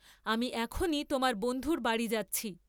আমি এখনই তােমার বন্ধুর বাড়ী যাচ্ছি।